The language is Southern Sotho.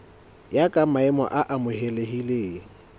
ya ka maemo a amohelehileng